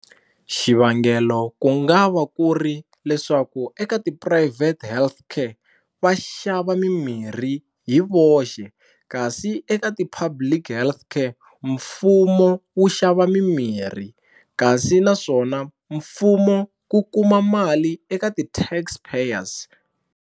Xivangelo ku nga va ku ri leswaku eka tiphurayivhete health care va xava mimirhi hi voxe kasi eka ti-public public health care mfumo wu xava mimirhi kasi naswona mfumo ku kuma mali eka ti-Tax payers.